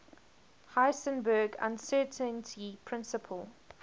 heisenberg uncertainty principle